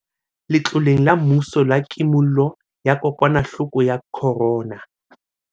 Letloleng la mmuso la Kimollo ya Kokwanahloko ya Corona.